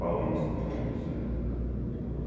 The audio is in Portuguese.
Paulistas, aqueles, né?